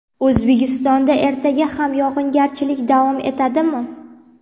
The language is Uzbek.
O‘zbekistonda ertaga ham yog‘ingarchilik davom etadimi?.